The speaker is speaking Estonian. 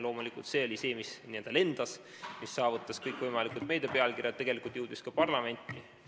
Loomulikult, see oli see, mis n-ö lendas, mis levis kõikvõimalike pealkirjadena meedias, tegelikult jõudis ka parlamenti.